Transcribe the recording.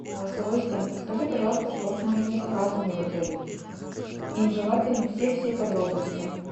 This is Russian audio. голосовой ассистент подскажи пожалуйста что с моими заказами в отеле и желательно все все подробности